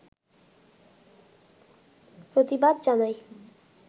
প্রতিবাদ জানায়